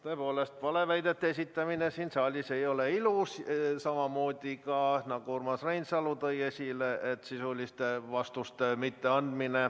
Tõepoolest, valeväidete esitamine siin saalis ei ole ilus, samamoodi – nagu Urmas Reinsalu tõi esile – ka sisuliste vastuste mitteandmine.